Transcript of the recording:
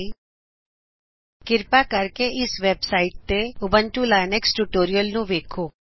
ਕ੍ਰਿਪਾ website H T T P spoken tutorial org httpspoken tutorialਓਰਗ ਤੋ ਊਬੁਂਤੂੰ ਲਿਨਕਸ ਟਯੂਟੋਰਿਅਲ ਨੂੰ ਵੇਖੋ